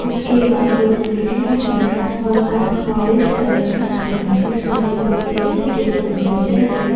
اسکے باجو ا.ٹ.م ہے اور بینک اورینج کلر کا ہے۔ اسمے دو اے.سے کے کمپریسر ہے۔